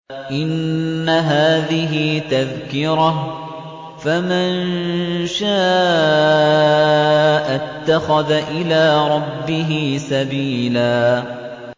إِنَّ هَٰذِهِ تَذْكِرَةٌ ۖ فَمَن شَاءَ اتَّخَذَ إِلَىٰ رَبِّهِ سَبِيلًا